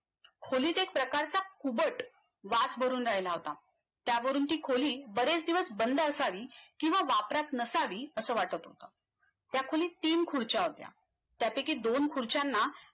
खोलीत एक प्रकारचा खूबट वास भरून राहिला होता त्यावरून ती खोली बरेच दिवस बंद असावी किंवा वापरात नसावी असं वाटत होतं त्या खोलीत तीन खुर्च्या होत्या त्यापैकी दोन खुर्च्याना